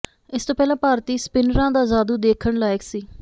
ਇਸ ਤੋਂ ਪਹਿਲਾਂ ਭਾਰਤੀ ਸਪਿੰਨਰਾਂ ਦਾ ਜਾਦੂ ਦੇਖਣ ਲਾਇਕ ਸੀ